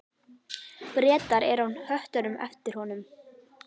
Bretar eru á höttunum eftir honum.